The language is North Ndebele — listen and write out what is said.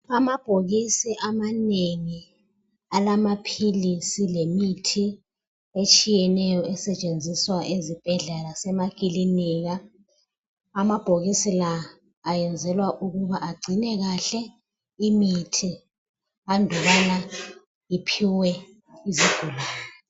amabhokisi amanengi alamaphilisi lemithi etshiyeneyo esetshenziswa ezibhedlela lasemakilinika amabhokisi la ayenzelwa ukuba agcinwe kahle imithi andubana iphiwe izigulane